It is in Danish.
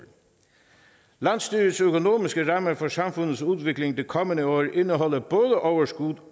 landsstyrets økonomiske rammer for samfundets udvikling de kommende år indeholder både overskud